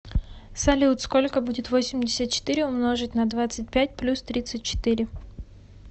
салют сколько будет восемьдесят четыре умножить на двадцать пять плюс тридцать четыре